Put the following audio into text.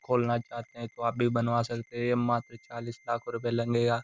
खोलना चाहते हैं तो आप भी बनवा सकते हैं। ये मात्र चालीस लाख रुपये लँगेया।